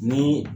Ni